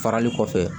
Farali kɔfɛ